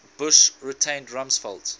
bush retained rumsfeld